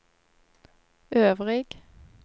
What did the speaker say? øvrig